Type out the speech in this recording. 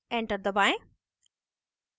enter दबाएं